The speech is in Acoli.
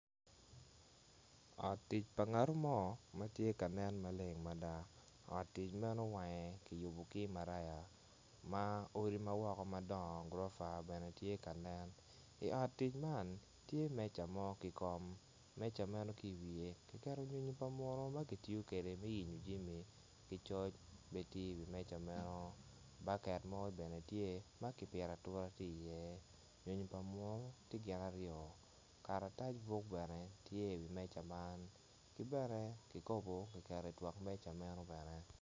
Ot tic pa ngatu mo ma ti ka nen maleng mada ot tic meno wange ki yubu ki maraya ma odi ma woko ma gurofa bene ti ka nene i ot tic man tye meca mo ki kom meca meno ki i wiye ki keto nyonyo pa munu ma ki tiyo kede me yenyo jimi ki coc be ti i wi meja meno baket mo bene tye ma kipito atura ti iyem nyonyo pa munu ti gin aryo karatac buk bene tye i wi meja man ki bene ki kopo ki keto i wi meja meno bene